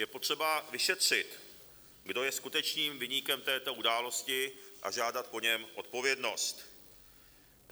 Je potřeba vyšetřit, kdo je skutečným viníkem této události, a žádat po něm odpovědnost.